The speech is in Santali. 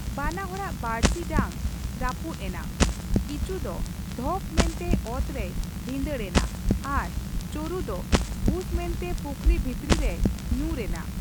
ᱵᱟᱱᱟ ᱦᱚᱲᱟᱜ ᱵᱟᱹᱲᱥᱤ ᱰᱟᱝ ᱨᱟᱹᱯᱩᱫ ᱮᱱᱟ ᱾ ᱠᱤᱪᱩ ᱫᱚ ᱫᱷᱚᱯ ᱢᱮᱱᱛᱮ ᱚᱛ ᱨᱮᱭ ᱵᱷᱤᱱᱫᱟᱹᱲ ᱮᱱᱟ ᱟᱨ ᱪᱳᱨᱩ ᱫᱚ ᱵᱷᱩᱥ ᱢᱮᱱᱛᱮ ᱯᱩᱠᱷᱨᱤ ᱵᱷᱤᱛᱨᱤ ᱨᱮᱭ ᱧᱩᱨ ᱮᱱᱟ ᱾